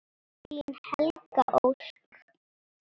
Þín Helga Ósk.